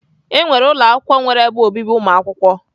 E nwere ụlọ akwụkwọ nwere ebe obibi ụmụakwụkwọ.